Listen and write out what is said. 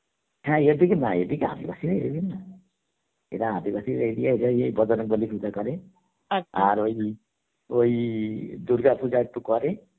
হ্যাঁ এদিক না এদিকে আদিবাসীদের area না, এরা আদিবাসী area এর রা বজরংবলী পূজা করে ওই, ওই দূর্গা পূজা একটু করে